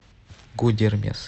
гудермес